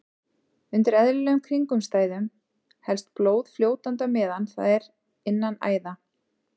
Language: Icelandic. Undir eðlilegum kringumstæðum helst blóð fljótandi á meðan það er innan æða.